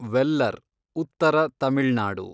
ವೆಲ್ಲರ್ , ಉತ್ತರ ತಮಿಳ್ ನಾಡು